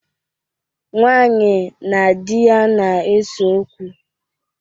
Nwaanyị na di ya na-eso okwu.